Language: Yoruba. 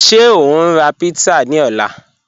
Ṣẹ o n ra pizza ni ọ̀lá?